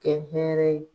Kɛ hɛrɛ ye